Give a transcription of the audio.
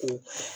Unhun